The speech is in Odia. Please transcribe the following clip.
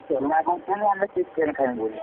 ଛୁଆ କହୁଛନ୍ତି ଆମେ chicken ଖାଇବେ ବୋଲି।